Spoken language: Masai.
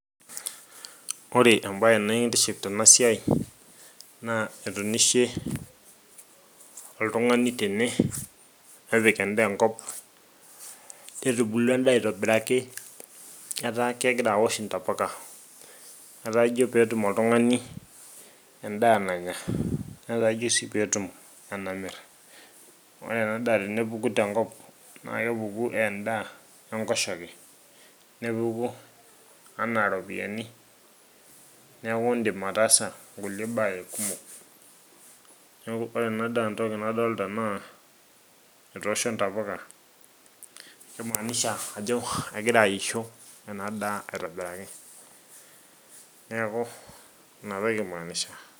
ore embaye nekintiship tena siai naa etunishe oltung'ani tene nepik endaa enkop netubulua endaa aitobiraki etaa kegira awosh intapuka etaa ijo peetum oltung'ani endaa nanya netaa ijo sii peetum enamirr ore ena daa tenepuku tenkop naa kepuku endaa enkoshoke nepuku anaa iropiyiani neeku indim ataasa nkulie baa ake kumok neeku ore ena daa entoki nadolta naa etoosho intapuka kimaaanisha ajo egira aisho ena daa aitobiraki neeku inatoki imaanisha.